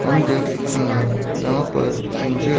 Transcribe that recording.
हम देख सकते हैं यहां पर ऊंचे--